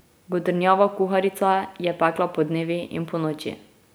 Godrnjava kuharica je pekla podnevi in ponoči.